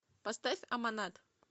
поставь аманат